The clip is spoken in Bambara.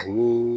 Ani